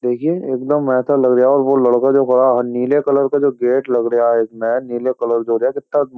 देखिए एक दम ऐसा लग रिया वो लड़का जो खड़ा है नीले कलर का जो गेट लग रिया इसमे नीले कलर जो देख कित्ता --